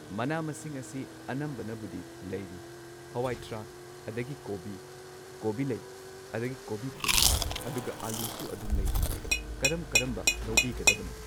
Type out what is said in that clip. ꯃꯅꯥ ꯃꯁꯤꯡ ꯑꯁꯤ ꯑꯅꯝꯕꯅꯕꯨꯗꯤ ꯂꯩꯔꯤ ꯍꯋꯥꯏꯊ꯭ꯔꯥꯛ ꯑꯗꯒꯤ ꯀꯣꯕꯤ꯫ ꯀꯣꯕꯤꯂꯩ ꯑꯗꯒꯤ ꯀꯣꯕꯤꯐꯨꯟ ꯑꯗꯨꯒ ꯑꯜꯂꯨꯁꯨ ꯑꯗꯨꯝ ꯂꯩꯔꯤ ꯀꯔꯝ ꯀꯔꯝꯕ ꯂꯧꯕꯤꯒꯗꯕꯅꯣ꯫